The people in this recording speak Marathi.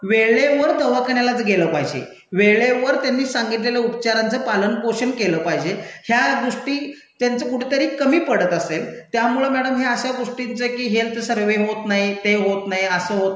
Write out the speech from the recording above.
वेळेवर दवाखान्यालाच गेलं पाहिजे, वेळेवर त्यांनी सांगितलेलं उपचारांचं पालन पोषण केलं पाहिजे. ह्या गोष्टी त्याचं कुठेतरी कमी पडत असेल त्यामुळं मैडम हे अशा गोष्टींच की हेल्थ सर्व्हे होत नाही, ते होत नाही असं होत